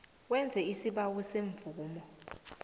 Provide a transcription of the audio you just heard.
wenze isibawo semvumo